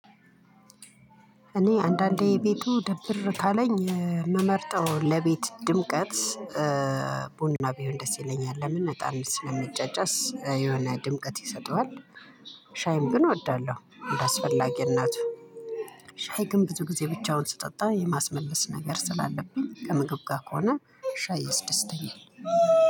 እኔ አንዳንዴ ቤቱ ደብር ካለኝ ምመርጠውን ለቤት ድምቀት ቡና ቢሆን ደስ ይለኛል ለምን እጣን ስለሚጫጫስ የሆነ ድምቀት ይሰጠዋል። ሻይም ግን እወዳለሁ እንደአስፈላጊነቱ። ሻይ ግን ብዙ ጊዜ ብቻውን ስጠጣ የማስመለስ ነገር ስላለብኝ ከምግብ ጋር ከሆነ ሻይ ያስደስተኛል።